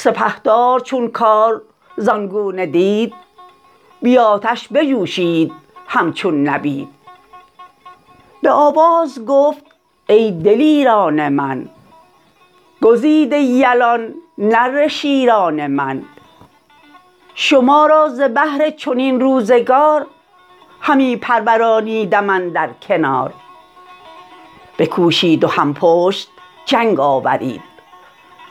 فرستاده شد نزد قیصر ز شاه سواری که اندر نوردید راه بفرمود کز نامداران روم کسی کاو بنازد بران مرز و بوم جهان دیده باید عنان دار کس سنان و سپر بایدش یار بس چنین لشکری باید از مرز روم که آیند با من به آباد بوم پس آگاهی آمد ز هاماوران بدشت سواران نیزه وران که رستم به مصر و به بربر چه کرد بران شهریاران به روز نبرد دلیری بجستند گرد و سوار عنان پیچ و مردافگن و نیزه دار نوشتند نامه یکی مردوار سخنهای شایسته و آبدار چو از گرگساران بیامد سپاه که جویند گاه سرافراز شاه دل ما شد از کار ایشان بدرد که دلشان چنین برتری یاد کرد همی تاج او خواست افراسیاب ز راه خرد سرش گشته شتاب برفتیم با نیزه های دراز برو تلخ کردیم آرام و ناز ازیشان و از ما بسی کشته شد زمانه به هر نیک و بد گشته شد کنون کآمد از کار او آگهی که تازه شد آن تخت شاهنشهی همه نامداران شمشیرزن برین کینه گه بر شدند انجمن چو شه برگراید ز بربر عنان به گردن برآریم یکسر سنان زمین کوه تا کوه پرخون کنیم ز دشمن بیابان چو جیحون کنیم فرستاده تازی برافگند و رفت به بربرستان روی بنهاد و تفت چو نامه بر شاه ایران رسید بران گونه گفتار بایسته دید ازیشان پسند آمدش کارکرد به افراسیاب آن زمان نامه کرد که ایران بپرداز و بیشی مجوی سر ما شد از تو پر از گفت وگوی ترا شهر توران بسندست خود به خیره همی دست یازی ببد فزونی مجوی ار شدی بی نیاز که درد آردت پیش رنج دراز ترا کهتری کار بستن نکوست نگه داشتن بر تن خویش پوست ندانی که ایران نشست من ست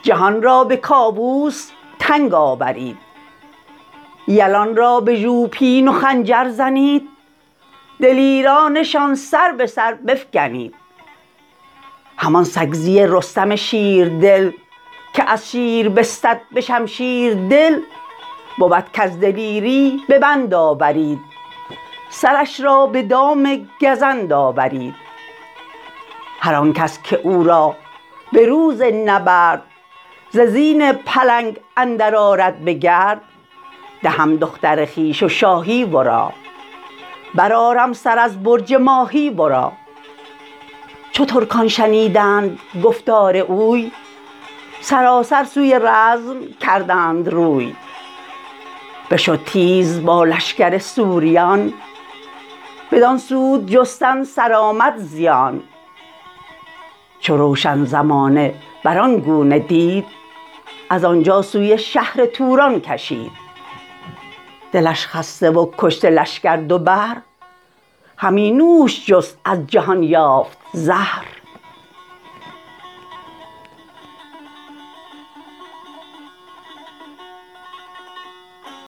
جهان سر به سر زیر دست من ست پلنگ ژیان گرچه باشد دلیر نیارد شدن پیش چنگال شیر چو آگاهی آمد به افراسیاب سرش پر ز کین گشت و دل پرشتاب فرستاد پاسخش کاین گفت وگوی نزیبد جز از مردم زشت خوی ترا گر سزا بودی ایران بدان نیازت نبودی به مازندران چنین گفت کایران دو رویه مراست بباید شنیدن سخنهای راست که پور فریدون نیای من ست همه شهر ایران سرای من ست و دیگر به بازوی شمشیرزن تهی کردم از تازیان انجمن به شمشیر بستانم از کوه تیغ عقاب اندر آرم ز تاریک میغ کنون آمدم جنگ را ساخته درفش درفشان برافراخته فرستاده برگشت مانند باد سخنها به کاووس کی کرد یاد چو بشنید کاووس گفتار اوی بیاراست لشکر به پیکار اوی ز بربر بیامد سوی سوریان یکی لشکری بی کران و میان به جنگش بیاراست افراسیاب به گردون همی خاک برزد ز آب جهان کر شد از ناله بوق و کوس زمین آهنین شد هوا آبنوس ز زخم تبرزین و از بس ترنگ همی موج خون خاست از دشت جنگ سر بخت گردان افراسیاب بران رزم گاه اندر آمد بخواب دو بهره ز توران سپه کشته شد سرسرکشان پاک برگشته شد سپهدار چون کار زان گونه دید بی آتش بجوشید همچون نبید به آواز گفت ای دلیران من گزیده یلان نره شیران من شما را ز بهر چنین روزگار همی پرورانیدم اندر کنار بکوشید و هم پشت جنگ آورید جهان را به کاووس تنگ آورید یلان را به ژوپین و خنجر زنید دلیرانشان سر به سر بفگنید همان سگزی رستم شیردل که از شیر بستد به شمشیر دل بود کز دلیری ببند آورید سرش را به دام گزند آورید هرآنکس که او را به روز نبرد ز زین پلنگ اندر آرد به گرد دهم دختر خویش و شاهی ورا برآرم سر از برج ماهی ورا چو ترکان شنیدند گفتار اوی سراسر سوی رزم کردند روی بشد تیز با لشکر سوریان بدان سود جستن سرآمد زیان چو روشن زمانه بران گونه دید ازانجا سوی شهر توران کشید دلش خسته و کشته لشکر دو بهر همی نوش جست از جهان یافت زهر